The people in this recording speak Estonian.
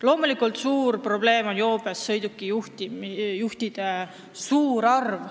Loomulikult on suur probleem joobes sõidukijuhtide suur arv.